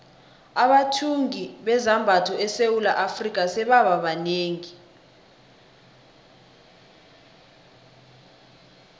abathungi bezambatho esewula afrika sebaba banengi